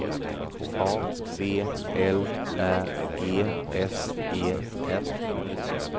A V L Ä G S E N